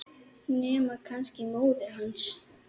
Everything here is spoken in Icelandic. Nema kannski móðir hans.